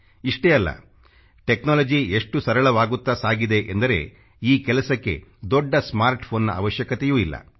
ಇಷ್ಟೇ ಅಲ್ಲ ಟೆಕ್ನಾಲಜಿ ಎಷ್ಟು ಸರಳವಾಗುತ್ತಾ ಸಾಗಿದೆ ಎಂದರೆ ಈ ಕೆಲಸಕ್ಕೆ ದೊಡ್ಡ ಸ್ಮಾರ್ಟ್ PHONEನ ಅವಶ್ಯಕತೆಯೂ ಇಲ್ಲ